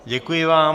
Děkuji vám.